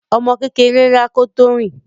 Ọmọ kékeré ń rá kó tó rìn.